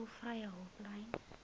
tolvrye hulplyn